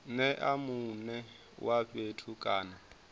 nea mune wa fhethu kana